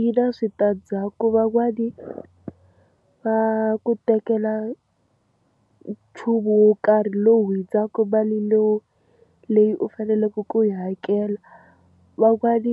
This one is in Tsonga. Yi na switandzhaku van'wani va ku tekela nchumu wo karhi lowu hundzaka mali leyi u faneleke ku yi hakela. Van'wani